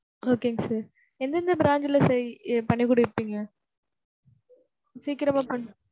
Okay ங்க sir. எந்தெந்த branch ல sir பண்ணி குடுப்பீங்க?